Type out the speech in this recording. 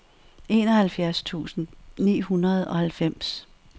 enoghalvfjerds tusind ni hundrede og halvfems